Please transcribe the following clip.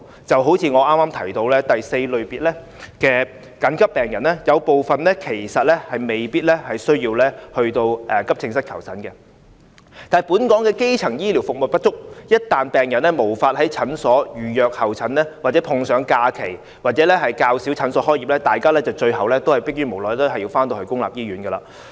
正如我剛才提及的第四類次緊急病人，有部分其實未必需要向急症室求診，但本港的基層醫療服務不足，一旦病人無法在診所預約候診，或碰上假期較少診所開門，大家最後逼於無奈還是會向公營醫院求診。